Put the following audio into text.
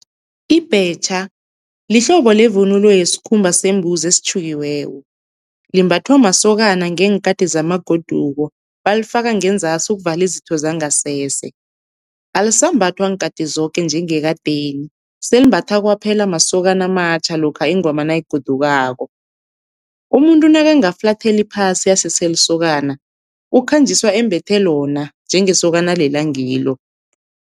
Ibhetjha lihlobo levunulo yesikhumba sembuzi esitjhukiweko, limbathwa masokana ngeenkati zamagoduko balifaka ngenzasi ukuvala izitho zangasese. Alisambathwa nkhathi zoke njengekadeni selimbathwa kwaphela masokana amatjha lokha ingoma nayigodukako. Umuntu nakangafulathela iphasi asese lisokana, ukhanjiswa embethe lona njengesokana alele angilo.